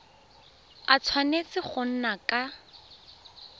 a tshwanetse go nna ka